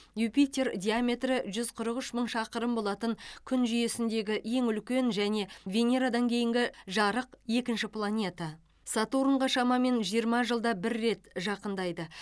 юпитер диаметрі жүз қырық үш мың шақырым болатын күн жүйесіндегі ең үлкен және венерадан кейінгі жарық екінші планета сатурнға шамамен жиырма жылда бір рет жақындайды